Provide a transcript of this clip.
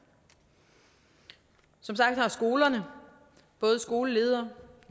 som sagt har skolerne både skoleledere